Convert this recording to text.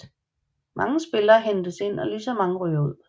Mange spillere hentes ind og ligeså mange ryger ud